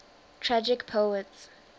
tragic poets